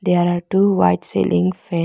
there are two white cealing fa--